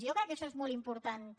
jo crec que això és molt important també